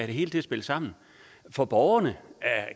det hele til at spille sammen for borgerne